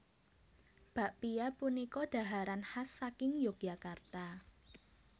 Bakpia punika dhaharan khas saking Yogyakarta